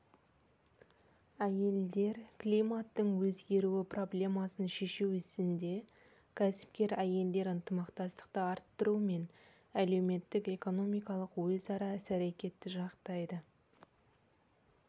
әйелдер климаттың өзгеруі проблемасын шешу ісінде кәсіпкер әйелдер ынтымақтастықты арттыру мен әлеуметтік-экономикалық өзара іс-әрекетті жақтайды